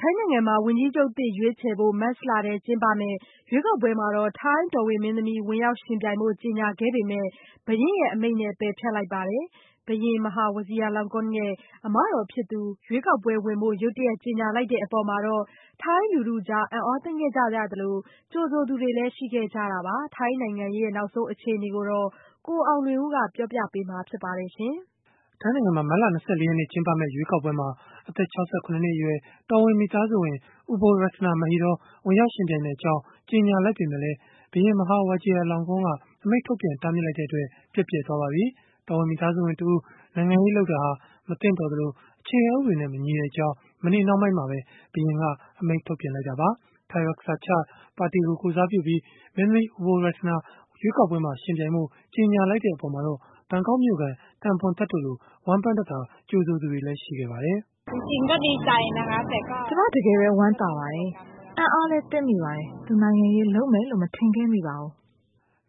ိုင်းနိုင်ငံမှာ ဝန်ကြီးချုပ်သစ် ရွေးချယ်ဖို့ မတ်လထဲ ကျင်းပမယ့် ရွေးကောက်ပွဲမှာ ထိုင်းတော်ဝင်မင်းသမီး ဝင်ရောက်ယှဉ်ပြိုင်ဖို့ ကြေညာခဲ့ပေမယ့် ဘုရင်ရဲ့အမိန့်နဲ့ ပယ်ဖျက်လိုက်ပါတယ်။ ဘုရင် Maha Vajiralongkorn ရဲ့ အမတော်ဖြစ်သူ ရွေးကောက်ပွဲဝင်ဖို့ ရုတ်တရက် ကြေညာလိုက်တဲ့အပေါ်မှာတော့ ထိုင်းလူထုကြား အံ့အားသင့်ခဲ့ကြသလို ကြိုဆိုသူတွေလည်း ရှိခဲ့ကြတာပါ။ ထိုင်းနိုင်ငံရေး နောက်ဆုံး အခြေအနေကိုတော့ ကိုအောင်လွင်ဦးက စုစည်းတင်ပြပေးထားပါတယ်။ ထိုင်းနိုင်ငံမှာ မတ်လ ၂၄ ရက်နေ့ ကျင်းပမယ့် ရွေးကောက်ပွဲမှာ အသက် ၆၇ နှစ်အရွယ် တော်ဝင်မိသားစုဝင် Ubolratana Mahidol ဝင်ရောက်ယှဉ်ပြိုင်မယ့်အကြောင်း ကြေညာလိုက်ပေမဲ့လည်း ဘုရင် Maha Vajiralongkorn က အမိန့်ထုတ်ပြန် တားမြစ်လိုက်တဲ့အတွက် ပျက်ပြယ်သွားပါပြီ။ တော်ဝင်မိသားစုဝင်တဦး နိုင်ငံရေးလုပ်တာဟာ မသင့်တော်သလို အခြေခံဥပဒေနဲ့မညီကြောင်း မနေ့နှောင်းပိုင်းမှာပဲ ဘုရင်က အမိန့်ထုတ်ပြန်ခဲ့တာပါ။ Thai Raksa Chart ပါတီကို ကိုယ်စားပြုပြီး မင်းသမီး Ubolratana ရွေးကောက်ပွဲမှာ ယှဉ်ပြိုင်ဖို့ ကြေညာလိုက်တဲ့အပေါ်မှာတော့ ဘန်ကောက်မြို့ခံ Tang Boonthet တို့လို ဝမ်းပမ်းတသာ ကြိုဆိုသူတွေလည်း ရှိခဲ့ပါတယ်။ “ကျမတကယ်ပဲ ဝမ်းသာပါတယ်။ အံ့အားလည်းသင့်မိပါတယ်။ သူနိုင်ငံရေးလုပ်မယ်လို့လည်း မထင်ခဲ့မိပါဘူး”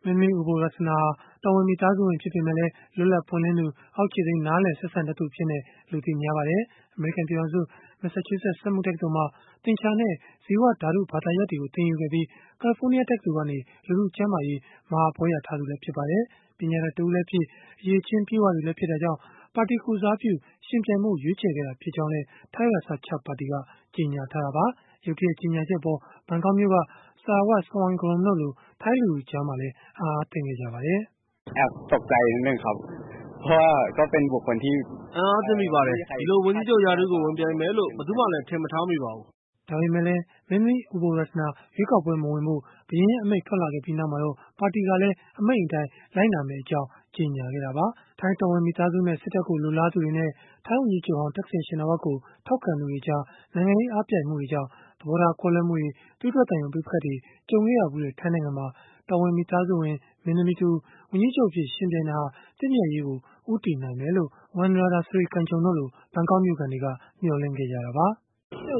မင်းသမီး Ubolratana ဟာ တော်ဝင်မိသားစုဝင် ဖြစ်ပေမယ့်လည်း လွတ်လပ်ပွင့်လင်းသူ၊ အောက်ခြေသိမ်း နားလည် ဆက်ဆံတတ်သူအဖြစ်နဲ့ လူသိများပါတယ်။ အမေရိကန် ပြည်ထောင်စု မက်ဆာချူးဆက် စက်မှု တက္ကသိုလ်မှာ သင်္ချာနဲ့ ဇီဝဓာတု ဘာသာရပ်တွေကို သင်ယူခဲ့ပြီး ကယ်လီဖိုးနီးယားတက္ကသိုလ်ကနေ လူထု ကျန်းမာရေး မဟာဘွဲ့ရခဲ့သူလည်း ဖြစ်ပါတယ်။ ပညာတတ် တဦးလည်းဖြစ်၊ အရည်အချင်း ပြည့်ဝသူလည်း ဖြစ်တာကြောင့် ပါတီကိုယ်စားပြု ယှဉ်ပြိုင်ဖို့ ရွေးချယ်ခဲ့တာ ဖြစ်ကြောင်းလည်း Thai Raksa Chart ပါတီက ကြေညာခဲ့တာပါ။ ရုတ်တရက် ကြေညာချက်အပေါ် ဘန်ကောက်မြို့က Sarawat Sawangarrom တို့လို ထိုင်းလူထုကြား အံ့အားသင့်ခဲ့ကြပါတယ်။ “အံ့အားသင့်မိပါတယ်။ ဒီလိုဝန်ကြီးချုပ် ရာထူးကို ဝင်ပြိုင်မယ်လို့ ဘယ်သူမှလည်း ထင်မထားမိပါဘူး။” ဒါပေမယ့်လည်း မင်းသမီး Ubolratana ရွေးကောက်ပွဲမဝင်ဖို့ ဘုရင်ရဲ့ အမိန့်ထွက်ပေါ်လာခဲ့ပြီးနောက်မှာတော့ ပါတီကလည်း အမိန့်အတိုင်း လိုက်နာမယ့်အကြောင်း ကြေညာခဲ့တာပါ။ ထိုင်းတော်ဝင်မိသားစုနဲ့ စစ်တပ်ကို လိုလားသူတွေနဲ့ ထိုင်းဝန်ကြီးချုပ်ဟောင်း Thaksin Shinawatra ကို ထောက်ခံသူတွေကြား နိုင်ငံရေး အားပြိုင်မှုတွေကြောင့် သဘောထားကွဲလွဲမှုတွေ သွေးထွက်သံယို ပဋိပက္ခတွေ ကြုံခဲ့ရဘူးတဲ့ ထိုင်းနိုင်ငံမှာ တော်ဝင်မိသားစုဝင် မင်းသမီး ဝန်ကြီးချုပ်အဖြစ် ယှဉ်ပြိုင်တာဟာ သင့်မြတ်ရေးကို ဦးတည်နိုင်မယ်လို့ Wanrada Srikajorn တို့လို ဘန်ကောက်မြို့ခံတွေက မျှော်လင့်ခဲ့ကြတာပါ။ “ဒါ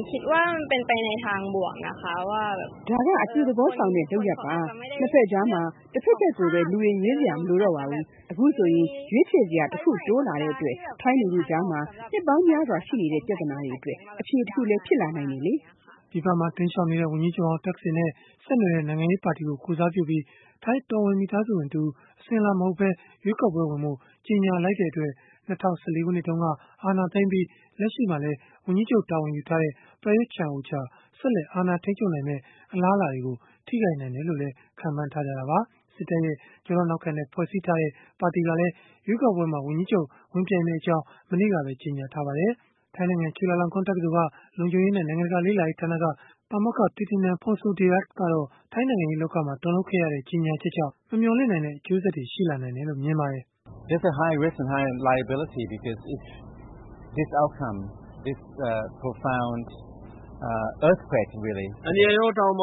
က အပြုသဘောဆောင်တဲ့ လုပ်ရပ်ပါ။ ၂ ဘက်ကြားမှာ တဘက်ဘက်ကိုပဲ လူတွေ ရွေးစရာ မလိုတော့ပါဘူး။ အခုဆိုရင် ရွေးချယ်စရာ တခုတိုးလာတဲ့အတွက် ထိုင်းလူထုကြားမှာ နှစ်ပေါင်းများစွာ ရှိနေတဲ့ ပြဿနာတွေအတွက် အဖြေတခုလည်း ဖြစ်လာနိုင်ပါတယ်။” ပြည်ပမှာ တိမ်းရှောင်နေတဲ့ ဝန်ကြီးချုပ်ဟောင်း Thaksin နဲ့ ဆက်နွယ်တဲ့ နိုင်ငံရေးပါတီကို ကိုယ်စားပြုပြီး ထိုင်းတော်ဝင် မိသားစုဝင်တဦး အစဉ်အလာမဟုတ်ဘဲ ရွေးကောက်ပွဲဝင်ဖို့ ကြေညာလိုက်တဲ့အတွက် ၂၀၁၄ ခုနှစ်တုန်းက အာဏာသိမ်းပြီး လက်ရှိမှာလည်း ဝန်ကြီးချုပ် တာဝန်ယူထားတဲ့ Prayut Chan-O-Cha ဆက်လက် အာဏာထိန်းချုပ်နိုင်မယ့် အလားအလာတွေကို ထိခိုက်နိုင်တယ်လို့လည်း ခန့်မှန်းခဲ့ကြတာပါ။ စစ်တပ်ရဲ့ ကျောထောက်နောက်ခံနဲ့ ဖွဲ့စည်းထားတဲ့ ပါတီကလည်း ရွေးကောက်ပွဲမှာ ဝန်ကြီးချုပ် ဝင်ပြိုင် မယ့်အကြောင်း မနေ့တုန်းကပဲ ကြေညာထားပါတယ်။ ထိုင်းနိုင်ငံ ချူလာလောင်ကွန်းတက္ကသိုလ်က လုံခြုံရေးနဲ့ နိုင်ငံတကာလေ့လာရေးဌာနက ပါမောက္ခ Thitinan Pongsudhirak ကတော့ ထိုင်းနိုင်ငံရေး လောကမှာ တုန်လှုပ်ခဲ့ရတဲ့ ကြေညာချက်ကြောင့် မမျှော်လင့်နိုင်တဲ့ အကျိုးဆက်တွေ ရှိလာနိုင်တယ်လို့ မြင်ပါတယ်။ “အန္တရာယ်ရော၊ တာဝန်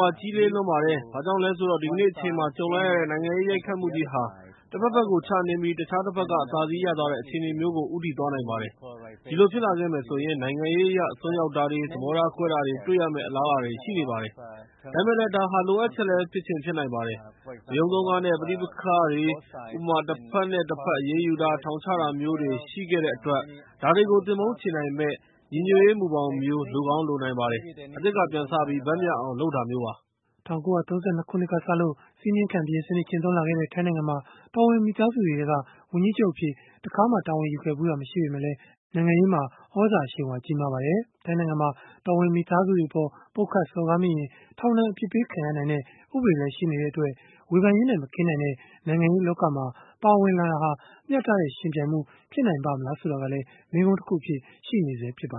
ပါ ကြီးလေးလွန်းပါတယ်။ ဘာကြောင့်လဲဆိုတော့ ဒီကနေ့ အချိန်မှာ ကြုံလိုက်ရတဲ့ နိုင်ငံရေးရိုက်ခတ်မှုကြီးဟာ တဘက်ဘက်ကို ချနင်းပြီး တခြား တဘက်က အသာစီးရသွားတဲ့ အခြေအနေမျိုးကို ဦးတည်သွားနိုင်ပါတယ်။ ဒီလိုဖြစ်လာခဲ့မယ်ဆိုရင် နိုင်ငံရေးအရ အစွန်းရောက်တာတွေ၊ သဘောထားကွဲတာ တွေ တွေ့ရမယ့် အလားအလာတွေ ရှိနေပါတယ်။ ဒါပေမဲ့လည်း ဒါဟာ လိုအပ်ချက်လည်း ဖြစ်ချင်ဖြစ်နိုင် ပါတယ်။ ဝရုန်းသုန်းကားနဲ့ ပဋိပက္ခတွေ၊ ဥပမာ- တဘက်နဲ့တဘက် အရေးယူတာ၊ ထောင်ချတာတွေမျိုးတွေ ရှိခဲ့တဲ့အတွက် ဒါတွေကို သင်ပုန်းချေနိုင်မယ့် ညီညွတ်ရေး မူဘောင်မျိုး လိုကောင်းလိုနိုင်ပါတယ်။ အသစ်က ပြန်စပြီး ဘက်မျှအောင် လုပ်တာမျိုးပါ။” ၁၉၃၂ ခုနှစ်ကစလို့ စည်းမျဉ်းခံ ဘုရင်စနစ် ကျင့်သုံးလာခဲ့တဲ့ ထိုင်းနိုင်ငံမှာ တော်ဝင်မိသားစုတွေထဲက ဝန်ကြီးချုပ်အဖြစ် တခါမှ တာဝန်ယူခဲ့ဖူးတာ မရှိပေမယ့်လည်း နိုင်ငံရေးမှာ သြဇာအရှိန်အဝါ ကြီးမားပါတယ်။ ထိုင်းနိုင်ငံမှာ တော်ဝင်မိသားစုဝင်တွေအပေါ် ပုတ်ခတ်စော်ကားမိရင် ထောင်ဒဏ်အပြစ်ပေးခံရနိုင်တဲ့ ဥပဒေလည်း ရှိနေတဲ့အတွက် ဝေဖန်ရေးနဲ့ မကင်းနိုင်တဲ့ နိုင်ငံရေးလောကမှာ ပါဝင်လာတာဟာ မျှတတဲ့ ယှဉ်ပြိုင်မှု ဖြစ်နိုင်ပါ့မလား ဆိုတာကလည်း မေးခွန်းတခုအဖြစ် ရှိနေဆဲ ဖြစ်ပါ